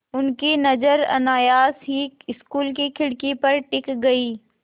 उनकी नज़र अनायास ही स्कूल की खिड़की पर टिक गई